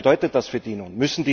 Was bedeutet das für die nun?